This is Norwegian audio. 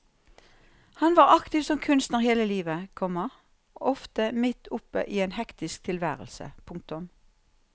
Han var aktiv som kunstner hele livet, komma ofte midt oppe i en hektisk tilværelse. punktum